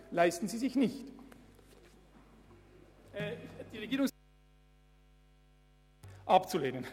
Ich bitte Sie deshalb, alle Anträge abzulehnen.